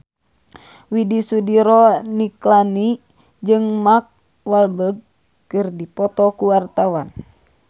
Widy Soediro Nichlany jeung Mark Walberg keur dipoto ku wartawan